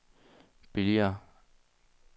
billigere